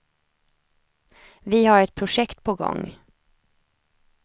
Vi har ett projekt på gång.